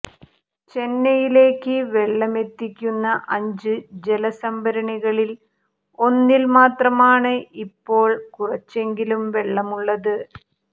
ചെന്നൈയിലേക്ക് വെള്ളമെത്തിക്കുന്ന അഞ്ച് ജലസംഭരണികളിൽ ഒന്നിൽ മാത്രമാണ് ഇപ്പോൾ കുറച്ചെങ്കിലും വെള്ളമുള്ളത്